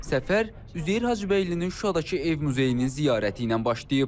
Səfər Üzeyir Hacıbəylinin Şuşadakı ev muzeyinin ziyarəti ilə başlayıb.